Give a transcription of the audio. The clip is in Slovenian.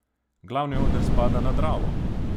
Glavni oder spada na Dravo!